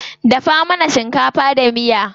Dafa mana shinkafa da miya.